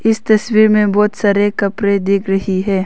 इस तस्वीर में बहोत सारे कपड़े देख रही है।